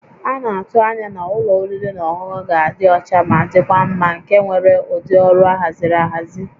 A na-atụ anya na ụlọ oriri na ọṅụṅụ ga-adị ọcha ma dịkwa mma nke nwere ụdị ọrụ ahaziri ahazi